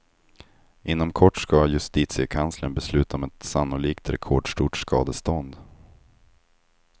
Inom kort ska justitiekanslern besluta om ett sannolikt rekordstort skadestånd.